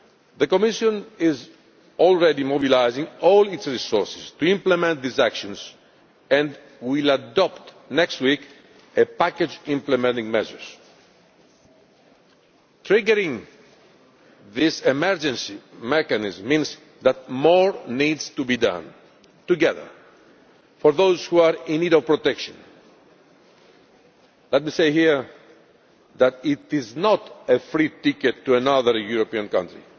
The Commission is already mobilising all its resources to implement these actions and will adopt a package implementing measures next week. Triggering this emergency mechanism means that more needs to be done together for those who are in need of protection. Let me say here that it is not a free ticket to another European country.